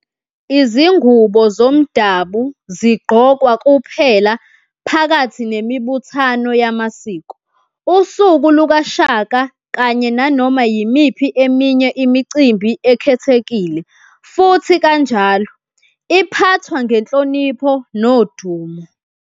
Izingubo zomdabu zigqokwa kuphela phakathi nemibuthano yamasiko, usuku lukaShaka kanye nanoma yimiphi eminye imicimbi ekhethekile futhi kanjalo, iphathwa ngenhlonipho nodumo.